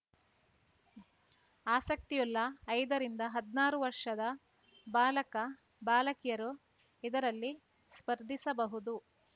ಆಸಕ್ತಿಯುಳ್ಳ ಐದ ರಿಂದ ಹದ್ನಾರು ವರ್ಷದ ಬಾಲಕ ಬಾಲಕಿಯರು ಇದರಲ್ಲಿ ಸ್ಪರ್ಧಿಸಬಹುದು